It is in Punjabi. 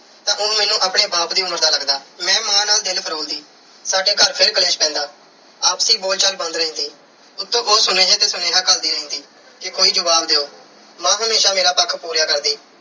ਤਾਂ ਉਹ ਮੈਨੂੰ ਆਪਣੇ ਬਾਪ ਦੀ ਉਮਰ ਦਾ ਲੱਗਦਾ। ਮੈਂ ਮਾਂ ਨਾਲ ਦਿਲ ਫਰੋਲਦੀ। ਸਾਡੇ ਘਰ ਫਿਰ ਕਲੇਸ਼ ਪੈਂਦਾ। ਆਪਸੀ ਬੋਲਚਾਲ ਬੰਦ ਰਹਿੰਦੀ। ਉੱਤੋਂ ਉਹ ਸੁਨੇਹੇ ਤੇ ਸੁਨ੍ਹੇਹਾ ਘੱਲਦੀ ਰਹਿੰਦੀ ਕਿ ਕੋਈ ਜਵਾਬ ਦਿਓ। ਮਾਂ ਹਮੇਸ਼ਾ ਮੇਰਾ ਪੱਖ ਪੂਰਿਆ ਕਰਦੀ।